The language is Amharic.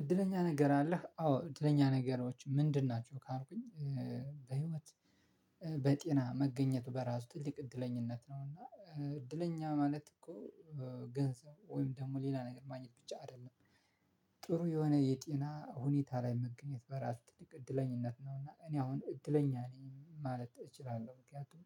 እድለኛ ነገር አለህ? አዎ እድለኛ ነገሮች ምንድን ናቸው ካልኩኝ? በህይወት በጤና መገኘቱ በራሱ ትልቅ እድለኛነት ነው። እና እድለኛ ማለት እኮ ገንዘብ ወይም ደግሞ ሌላ ነገር ማግኘት ብቻ አይደለም። ጥሩ የሆነ የጤና ሁኔታ ላይ መገኘት በራሱ ትልቅ እድለኛነት ነው። እኔ አሁን እድለኛ ነኝ ማለት እችላለሁ። ምክንያቱም